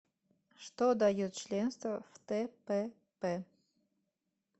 что дает членство в тпп